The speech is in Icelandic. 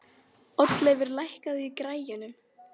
Oddleifur, lækkaðu í græjunum.